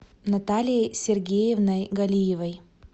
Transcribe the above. натальей сергеевной галиевой